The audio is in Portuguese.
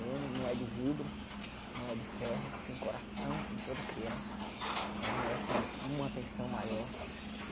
Né não é de vidro, não é de ferro, tem coração como toda criança né, merece uma atenção maior.